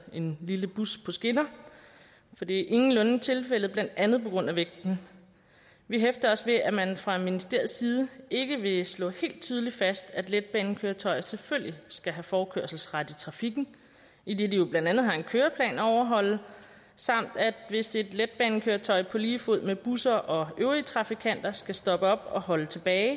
en lille bus på skinner for det er ingenlunde tilfældet blandt andet på grund af vægten vi hæfter os ved at man fra ministeriets side ikke vil slå helt tydeligt fast at letbanekøretøjer selvfølgelig skal have forkørselsret i trafikken idet de jo blandt andet har en køreplan at overholde samt at hvis et letbanekøretøj på lige fod med busser og øvrige trafikanter skal stoppe op og holde tilbage